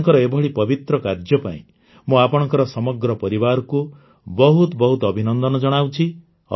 ଆପଣଙ୍କର ଏଭଳି ପବିତ୍ର କାର୍ଯ୍ୟ ପାଇଁ ମୁଁ ଆପଣଙ୍କର ସମଗ୍ର ପରିବାରକୁ ବହୁତ ବହୁତ ଅଭିନନ୍ଦନ ଜଣାଉଛି